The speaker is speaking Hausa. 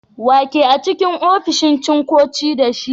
Wa ke a'cikin ofishin shugaban ticcoci da shi?